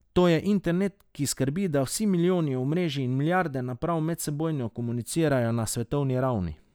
To je internet, ki skrbi, da vsi milijoni omrežij in milijarde naprav medsebojno komunicirajo na svetovni ravni.